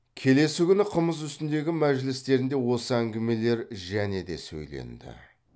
келесі күні қымыз үстіндегі мәжілістерінде осы әңгімелер және де сөйленді